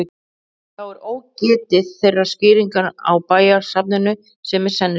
Þá er ógetið þeirrar skýringar á bæjarnafninu sem er sennilegust.